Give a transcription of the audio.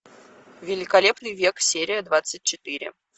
великолепный век серия двадцать четыре